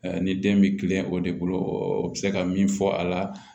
ni den bɛ kilen o de bolo u bɛ se ka min fɔ a la